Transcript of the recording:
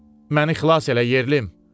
Məni xilas elə, yerlim!